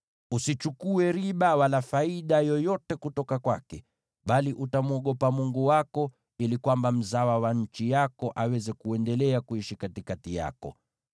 Usichukue riba wala faida yoyote kutoka kwake, bali utamwogopa Mungu wako, ili mzawa wa nchi yako aweze kuendelea kuishi katikati yako.